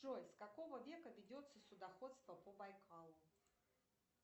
джой с какого века ведется судоходство по байкалу